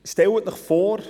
Stellen Sie sich vor: